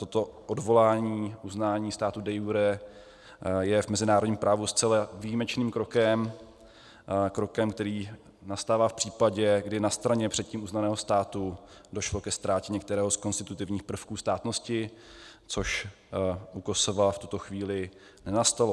Toto odvolání uznání státu de iure je v mezinárodním právu zcela výjimečným krokem, krokem, který nastává v případě, kdy na straně předtím uznaného státu došlo ke ztrátě některého z konstitutivních prvků státnosti, což u Kosova v tuto chvíli nenastalo.